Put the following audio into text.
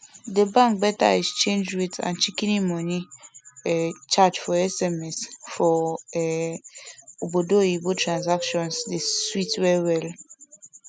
di bank beta exchange rate and shikini money um charge for sms for um obodoyibo transaction dey sweet well well